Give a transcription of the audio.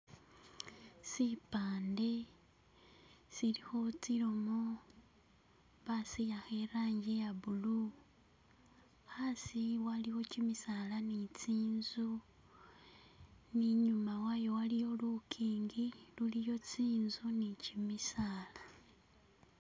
Sipande silikho tsilomo bazihakha ilangi ya blue hasi waliwo gimisaala ni zinzu ne inyuma wayo waliyo lugingi ululiyo zinzu nigimisaala.